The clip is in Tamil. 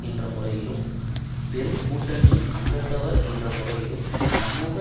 என்ற முறையில் பெரும் கூட்டணியின் அங்கத்தவர் என்ற முறையிலும் சமூக